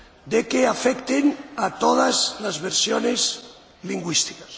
de que no afecten a todas las versiones lingüísticas.